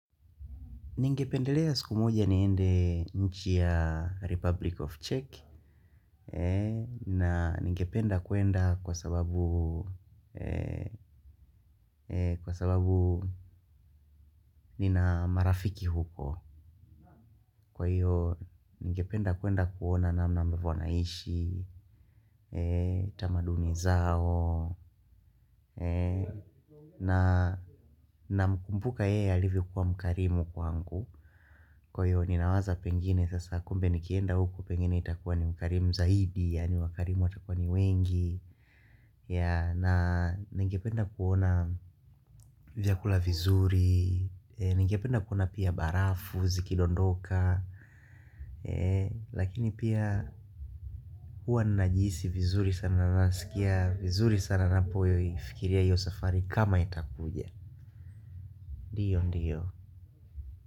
Ningependelea siku moja niende nchi ya Republic of Czech. Na ningependa kuenda kwa sababu nina marafiki huko kwahiyo ningependa kwenda kuona namna ambavyo wana ishi eeh tamaduni zao. Namkumbuka yeye alivyo kua mkarimu kwangu. Kwa hiyo ninawaza pengine sasa kumbe nikienda huko pengine itakuwa ni mkarimu zaidi yani wakarimu watakuwa ni wengi. Ya na ninge penda kuona vyakula vizuri. Ninge penda kuona pia barafu, zikidondoka. Lakini pia hua ninajihisi vizuri sana nasikia vizuri sana ninapo ifikiria hiyo safari kama itakuja ndiyo ndiyo.